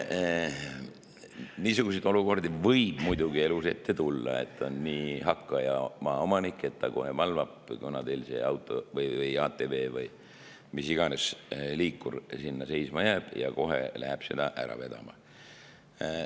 Niisuguseid olukordi võib muidugi elus ette tulla, et on nii hakkaja maaomanik, kes valvab, kunas teil auto või ATV või mis iganes liikur sinna seisma jääb, ja kohe läheb seda ära vedama.